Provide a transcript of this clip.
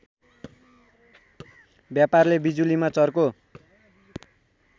व्यापारले बिजुलीमा चर्को